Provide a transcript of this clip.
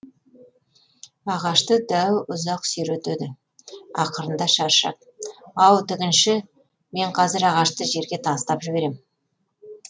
ағашты дәу ұзақ сүйретеді ақырында шаршап ау тігінші мен қазір ағашты жерге тастап жіберем